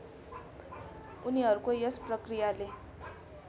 उनीहरूको यस प्रक्रियाले